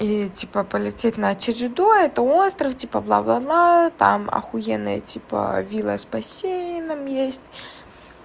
и типа полететь на чеджудо это остров типа бла бла бла там ахуенная типа вилла с бассейном есть